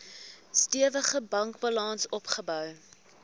stewige bankbalans opgebou